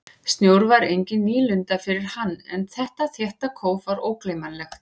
Snjór var engin nýlunda fyrir hann en þetta þétta kóf var ógleymanlegt.